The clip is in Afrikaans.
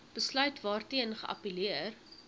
besluit waarteen geappelleer